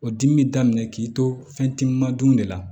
O dimi bɛ daminɛ k'i to fɛn timin na dun de la